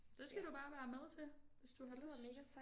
Det skal du bare være med til hvis du har lyst